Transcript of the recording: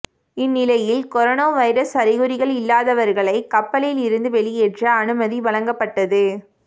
இந்நிலையில் corona virus அறிகுறிகள் இல்லதாவர்களை கப்பலில் இருந்து வெளியேற்ற அனுமதி வழங்கப்பட்டது